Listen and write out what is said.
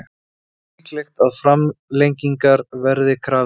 Líklegt að framlengingar verði krafist